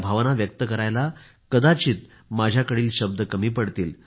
त्या भावना व्यक्त करायला कदाचित माझ्याकडील शब्द कमी पडतील